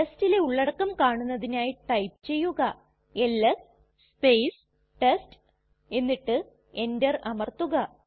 ടെസ്റ്റിലെ ഉള്ളടക്കം കാണുന്നതിനായി ടൈപ്പ് ചെയ്യുക എൽഎസ് ടെസ്റ്റ് എന്നിട്ട് എന്റർ അമർത്തുക